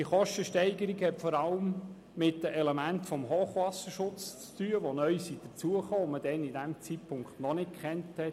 Diese Kostensteigerung hat vor allem mit den neu hinzugekommenen Elementen des Hochwasserschutzes zu tun, die man zum damaligen Zeitpunkt noch nicht kannte.